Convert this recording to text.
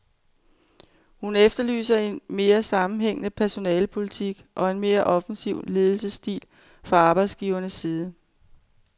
Hun efterlyser en mere sammenhængende personalepolitik og en mere offensiv ledelsesstil fra arbejdsgivernes side.